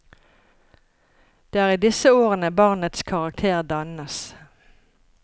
Det er i disse årene barnets karakter dannes.